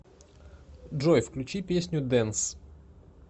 джой включи песню дэнс